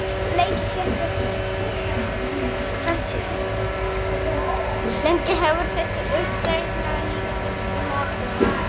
Lengi hefur þessi uppfræðsla líka verið í molum.